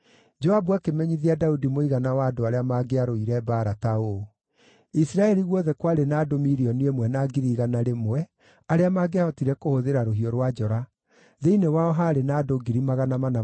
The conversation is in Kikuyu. Joabu akĩmenyithia Daudi mũigana wa andũ arĩa maangĩarũire mbaara ta ũũ: Isiraeli guothe kwarĩ na andũ 1,100,000 arĩa maangĩahotire kũhũthĩra rũhiũ rwa njora, thĩinĩ wao haarĩ na andũ 470,000 kuuma Juda.